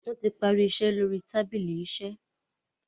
wón tí parí iṣé lórí tábìlì iṣe.